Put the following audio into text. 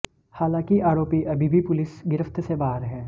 हालांकि आरोपी अभी भी पुलिस गिरफ्त से बाहर है